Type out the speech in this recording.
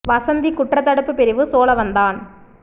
வசந்தி குற்றத்தடுப்பு பிரிவு சோழவந்தான்